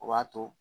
O b'a to